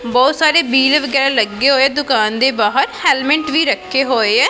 ਬਹੁਤ ਸਾਰੇ ਵਹਿਲ ਵਗੈਰਾ ਲੱਗੇ ਹੋਏ ਦੁਕਾਨ ਦੇ ਬਾਹਰ ਹੈਲਮੇਂਟ ਵੀ ਰੱਖੇ ਹੋਏ ਐ।